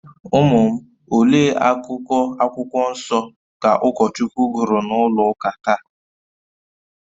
Ụmụ m, olee akụkụ Akwụkwọ Nsọ ka ụkọchukwu gụrụ na ụlọ ụka taa?